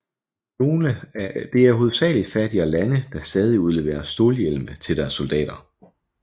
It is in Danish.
Det er hovedsagelig fattigere lande der stadig udleverer stålhjelme til deres soldater